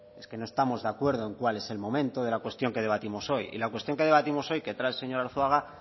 es que no estamos de acuerdo en cuál es el momento de la cuestión que debatimos hoy y la cuestión que debatimos hoy que trae el señor arzuaga